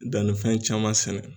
Dannifɛn caman sɛnɛ.